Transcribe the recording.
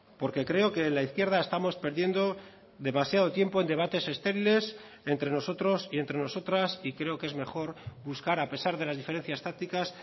porque creo que la izquierda estamos perdiendo demasiado tiempo en debates estériles entre nosotros y entre nosotras y creo que es mejor buscar a pesar de las diferencias tácticas